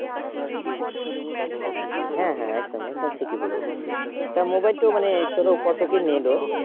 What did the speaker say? হ্যাঁ হ্যাঁ একদম ঠিকই বলেছ তার Mobile টো মানে ধরো কত কি নিলো